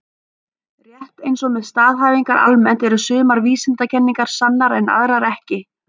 Rétt eins og með staðhæfingar almennt eru sumar vísindakenningar sannar en aðrar ekki.